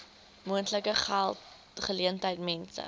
moontlike geleentheid mense